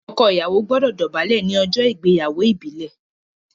ọkọ Ìyàwó gbódò dobale ní ojó ìgbéyàwó ìbílè.